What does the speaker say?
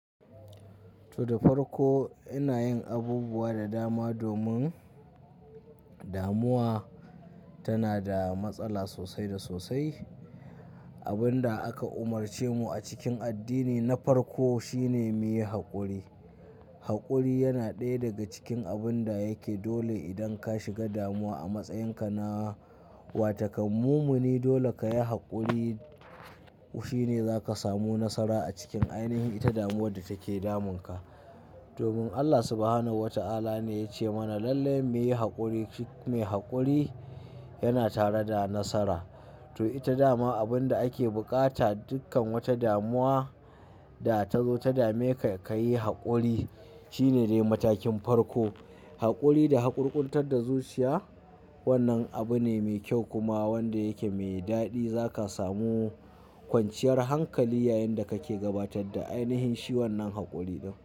To, da farko ina yin abubuwa da dama domin damuwa tana da matsala sosai da sosai. Abin da aka umarce mu a cikin addini na farko shine mu yi haƙuri. Haƙuri yana ɗaya daga cikin abin da yake dole idan ka shiga damuwa a matsayinka na watakan mumuni. Dole ka yi haƙuri shine zaka samu nasara a cikin ainihin ita damuwar da take damunka. Domin Allah Subhanahu wa ta'ala ne ya ce mana lalle muyi haƙuri, mai haƙuri yana tare da nasara. To, ita dama abin da ake bukata dukkan wata damuwa da ta zo ta dame ka, ka yi haƙuri shine dai matakin farko. Haƙuri da haƙurƙuntar da zuciya wannan abu ne mai kyau kuma wanda yake mai daɗi. Zaka samu kwanciyar hankali yayin da kake gabatar da ainihin shi wannan haƙuri.